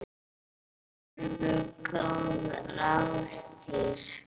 Voru nú góð ráð dýr.